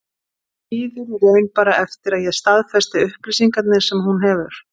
Hún bíður í raun bara eftir að ég staðfesti upplýsingarnar sem hún hefur.